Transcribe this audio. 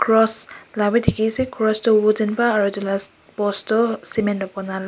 cross lah bhi dikhi ase Cross tu wooden pra aru etu lah post tu cement tu banai lah--